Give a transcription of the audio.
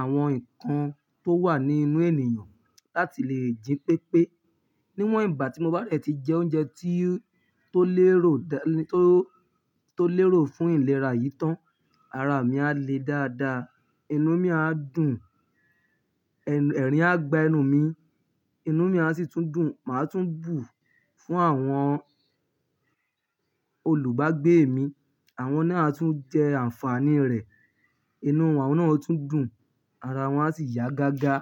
àwọn nǹkan tó wà ní inú ènìyàn láti lè jí pépé. Níwọ̀n ìgbà tí mo bá dẹ̀ ti jẹ oúnjẹ tí, tó lérò dání, tó, tó lérò fún ìlera yìí tán, ara mi á le dáadáa, inú mi á dùn, ẹ̀rìn á gba enú mi, inú mi á sì tún dùn. Màá tún bù fún àwọn olùbágbé mi. Àwọn náà tún jẹ àǹfàní rẹ̀. Inú àwọn náà ó tún dùn, ara wọ́n á sì yá gágá.